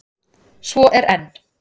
Svo er enn!